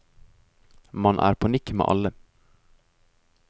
Man er på nikk med alle.